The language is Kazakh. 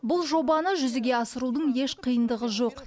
бұл жобаны жүзеге асырудың еш қиындығы жоқ